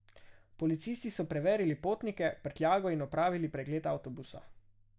Policisti so preverili potnike, prtljago in opravili pregled avtobusa.